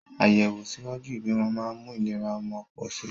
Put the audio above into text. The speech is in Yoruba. Àyẹ̀wò ṣíwájú ìbímọ máa ń mú ìlera ọmọ pọ̀ sí i